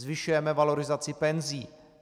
Zvyšujeme valorizaci penzí.